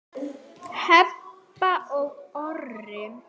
Heba og Orri.